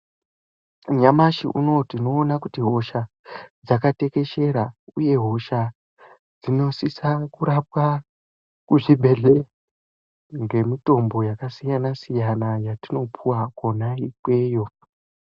Nyamashi uno tinoona kuti hosha dzakatekeshera uye hosha tinosisa kurapwa kuzvibhedhleya nemitombo yakasiyana siyana yatinopiwako ikweyo.